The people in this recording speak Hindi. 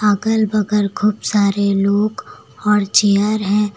अगल बगल खूब सारे लोग और चेयर है।